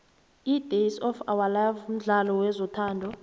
idays of ourlife mdlalo wezothando